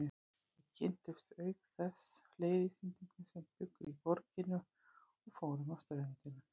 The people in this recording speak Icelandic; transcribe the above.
Við kynntumst auk þess fleiri Íslendingum sem bjuggu í borginni og fórum á ströndina.